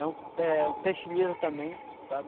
É um, é um peixe liso também, sabe?